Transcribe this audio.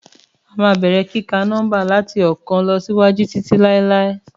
Àmá bẹẹrẹ kikà nómba làtí ookan lọsíwàjú títí láíláí